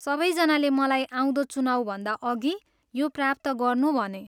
सबैजनाले मलाई आउँदो चुनावभन्दा अघि यो प्राप्त गर्नु भने।